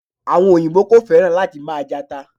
Àwon òyìbó ko féràn láti ma je ata